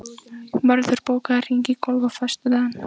Mörður, bókaðu hring í golf á föstudaginn.